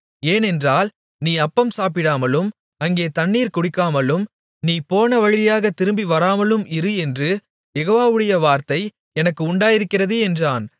ஏனென்றால் நீ அப்பம் சாப்பிடாமலும் அங்கே தண்ணீர் குடிக்காமலும் நீ போன வழியாகத் திரும்பிவராமலும் இரு என்று யெகோவாவுடைய வார்த்தை எனக்கு உண்டாயிருக்கிறது என்றான்